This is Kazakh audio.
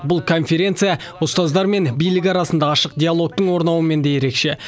бұл конференция ұстаздар мен билік арасында ашық диалогтың орнауымен де ерекше